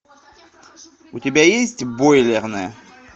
у тебя есть бойлерная